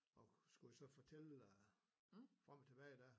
Og skulle jo så fortælle øh frem og tilbage dér